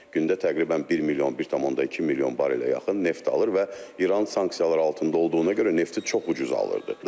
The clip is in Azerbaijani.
Gündə təqribən 1 milyon, 1.2 milyon barelə yaxın neft alır və İran sanksiyalar altında olduğuna görə nefti çox ucuz alırdı.